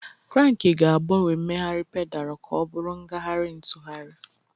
Kranki ga-agbanwe mmegharị pedalu ka ọ bụrụ ngagharị ntụgharị.